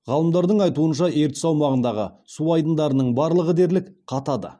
ғалымдардың айтуынша ертіс аумағындағы су айдындарының барлығы дерлік қатады